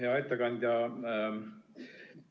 Hea ettekandja!